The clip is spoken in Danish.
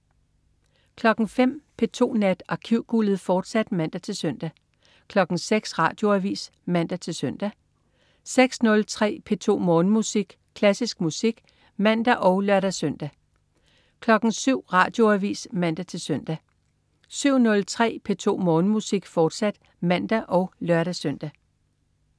05.00 P2 Nat. Arkivguldet, fortsat (man-søn) 06.00 Radioavis (man-søn) 06.03 P2 Morgenmusik. Klassisk musik (man og lør-søn) 07.00 Radioavis (man-søn) 07.03 P2 Morgenmusik, fortsat (man og lør-søn)